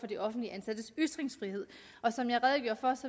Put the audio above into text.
de offentligt ansattes ytringsfrihed og som jeg redegjorde for